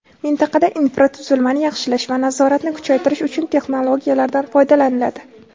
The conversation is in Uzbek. Mintaqada infratuzilmani yaxshilash va nazoratni kuchaytirish uchun texnologiyalardan foydalaniladi.